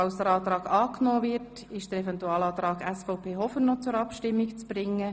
Falls dieser angenommen wird, ist der Antrag SVP Hofer noch zur Abstimmung zu bringen.